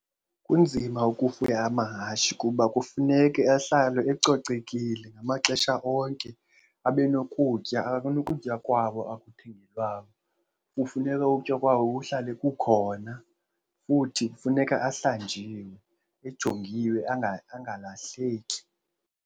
Kunzima ukufuya amahashe kuba kufuneke ahlale ecocekile ngamaxesha onke. Abe nokutya, anokutya kwawo akuthengelwayo. Kufuneka ukutya kwawo kuhlale kukhona futhi kufuneka ahlanjiwe, ejongiwe angalahleki.